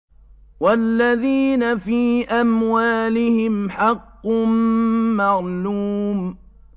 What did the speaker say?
وَالَّذِينَ فِي أَمْوَالِهِمْ حَقٌّ مَّعْلُومٌ